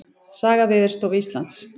Saga Veðurstofu Íslands.